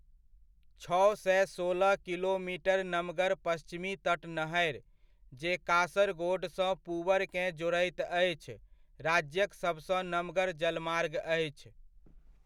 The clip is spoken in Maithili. छओ सए सोलह किलोमीटर नमगर पश्चिमी तट नहरि, जे कासरगोडसँ पूवरकेँ जोड़ैत अछि, राज्यक सभसँ नमगर जलमार्ग अछि।